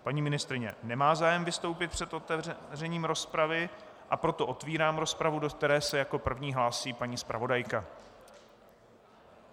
Paní ministryně nemá zájem vystoupit před otevřením rozpravy, a proto otevírám rozpravu, do které se jako první hlásí paní zpravodajka.